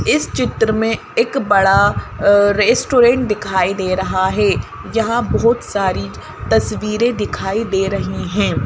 इस चित्र में एक बड़ा अअ रेस्टोरेंट दिखाई दे रहा है जहां बहुत सारी तस्वीरें दिखाई दे रही हैं।